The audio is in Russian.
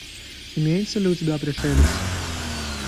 имеется ли у тебя пришелец